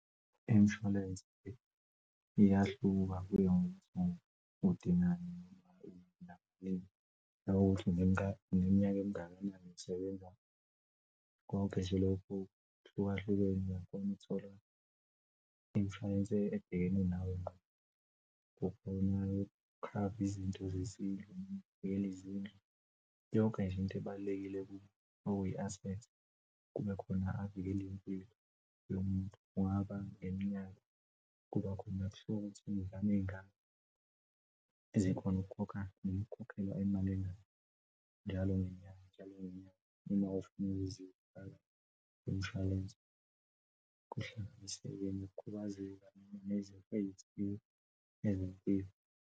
Imshwalense iyahluka kuye ngokuthi udingani . Nanokuthi uneminyaka emingakanani usebenza konke nje lokhu kuhlukahlukene. Mawuthola imshwalense ebhekene nawe ngqo kukona yokukhava izinto zezindlu, nokuvikela izindlu, yonke nje into ebalulekile okuyi-asset. Kubekhona avikele impilo yomuntu, kungaba ngeminyaka kuba khona kuhluke ukuthi izingane zingaki ezikhona ukukhokha noma ukukhokhelwa imali engako njalo ngenyanga njalo ngenyanga uma ufuna ukuzifaka kumishwalense kuhlanganiseka nokukhubazeka noma nezifo eyithile ezempilo.